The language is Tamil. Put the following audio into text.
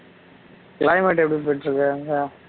climate எப்படி போயிட்டு இருக்கு அங்க